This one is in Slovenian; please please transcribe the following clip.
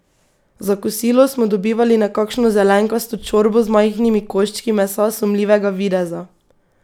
Za kosilo smo dobivali nekakšno zelenkasto čorbo z majhnimi koščki mesa sumljivega videza.